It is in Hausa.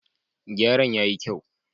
Gyaran ya yi kyau.